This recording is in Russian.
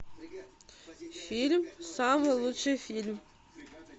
фильм самый лучший фильм